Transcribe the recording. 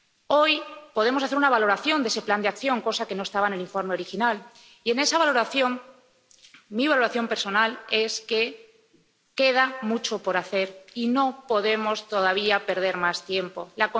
Hoy podemos hacer una valoración de ese plan de acción, cosa que no estaba en el informe original, y, en esa valoración, mi valoración personal es que queda mucho por hacer y no podemos perder más tiempo aún.